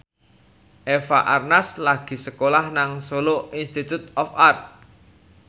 Eva Arnaz lagi sekolah nang Solo Institute of Art